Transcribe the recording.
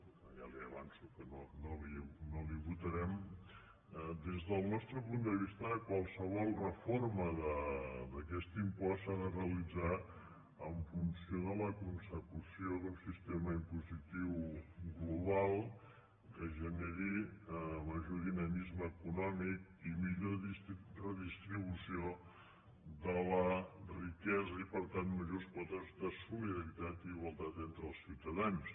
que ja li avanço que no la hi votarem des del nostre punt de vista qualsevol reforma d’aquest impost s’ha de realitzar en funció de la consecució d’un sistema impositiu global que ge·neri major dinamisme econòmic i millor redistribució de la riquesa i per tant majors quotes de solidaritat i igualtat entre els ciutadans